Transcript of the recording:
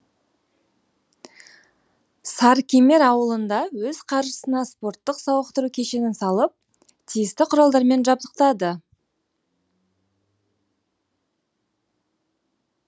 сарыкемер ауылында өз қаржысына спорттық сауықтыру кешенін салып тиісті құралдармен жабдықтады